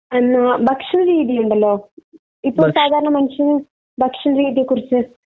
അഹ് ഭക്ഷണരീതിയുണ്ടല്ലോ. ഇപ്പൊ മനുഷ്യന്റെ സധാരണ ഭക്ഷണരീതിയെക്കുറിച്ച്.